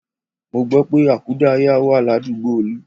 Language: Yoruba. Mo gbọ́ pé àkúdáàyá wà ládùúgbò Olú